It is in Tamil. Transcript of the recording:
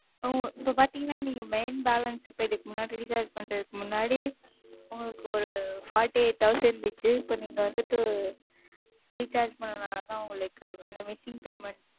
ஆ இப்ப பாத்தீங்கன்னா Main balance இதுக்கு முன்னாடி Recharge பண்றதுக்கு முன்னாடி உங்களுக்கு ஒரு Fourty eight thousand இருந்துச்சு இப்ப நீங்க வந்துட்டு Recharge பண்ணதனால தான் உங்களுக்கு அந்த Missing payment,